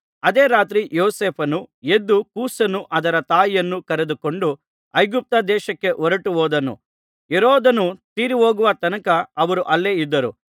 ಅದೇ ರಾತ್ರಿ ಯೋಸೇಫನು ಎದ್ದು ಕೂಸನ್ನೂ ಅದರ ತಾಯಿಯನ್ನೂ ಕರೆದುಕೊಂಡು ಐಗುಪ್ತ ದೇಶಕ್ಕೆ ಹೊರಟುಹೋದನು ಹೆರೋದನು ತೀರಿಹೋಗುವ ತನಕ ಅವರು ಅಲ್ಲೇ ಇದ್ದರು